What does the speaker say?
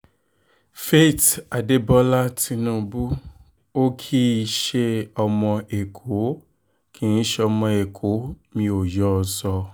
faith adébólà tinubu ò kì í ṣe ọmọ èkó kì í ṣọmọ ẹ̀kọ́ mi ò yọ ọ́ sọ